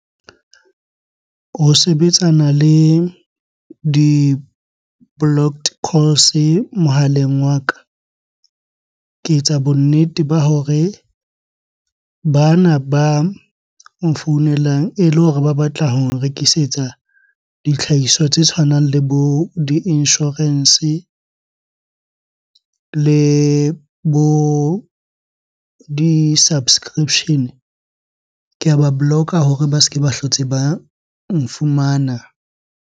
Ho sebetsana le di-blocked calls mohaleng wa ka, ke etsa bonnete ba hore bana ba nfounelang ele hore ba batla ho nrekisetsa dihlahiswa tse tshwanang le bo di-insurance le bo di-subscription-e. Ke a ba block-a hore ba se ke ba hlotse ba nfumana.